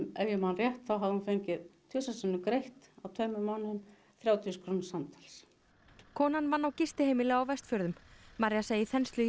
ef ég man rétt þá hafði hún fengið tvisvar sinnum greitt á tveimur mánuðum þrjátíu þúsund krónur samtals konan vann á gistiheimili á Vestfjörðum María segir þenslu í